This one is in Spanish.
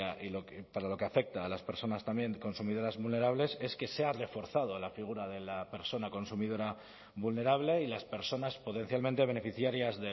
y para lo que afecta a las personas también consumidoras vulnerables es que se ha reforzado la figura de la persona consumidora vulnerable y las personas potencialmente beneficiarias